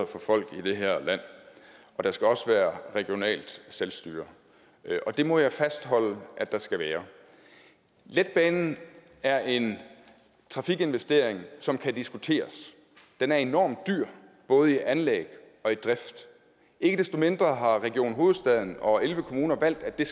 for folk i det her land og der skal også være regionalt selvstyre det må jeg fastholde der skal være letbanen er en trafikinvestering som kan diskuteres den er enormt dyr både i anlæg og drift ikke desto mindre har region hovedstaden og elleve kommuner valgt at